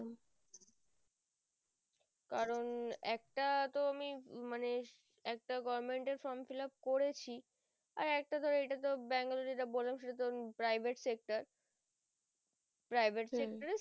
কারণ একটা তো আমি মানে একটা government from fill up করেছি আর একটা তো Bangalore যেটা বললাম সেটা তো private sector private sector হম